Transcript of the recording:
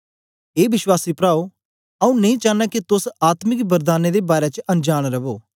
ए विश्वासी प्राओ आऊँ नेई चानां के तोस आत्मिक वरदानें दे बारै च अनजांन रवो